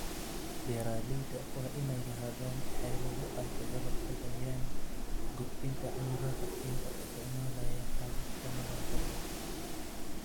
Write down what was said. Beeralayda waa inay lahaadaan xeelado ay kaga hortagayaan gudbinta cudurrada iyagoo isticmaalaya hababka nadaafadda.